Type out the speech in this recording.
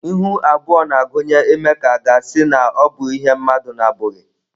Ihu abụọ na-agụnye ime ka à ga-asị na ọ bụ ihe mmadụ na-abụghị.